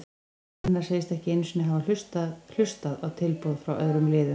Gunnar segist ekki einu sinni hafa hlustað hlustað á tilboð frá öðrum liðum.